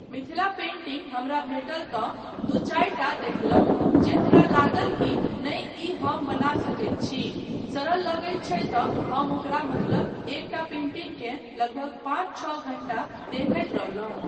Mithila painting हमरा भेटल तँ दू चारिटा देखलहुँ जे हमरा लागल कि नहि ई हम बना सकैत छी, सरल लगैत छै तँ हम ओकरा मतलब एकटा पेंटिंग केँ लगभग पाँच छओ घण्टा देखैत रहलहुँ।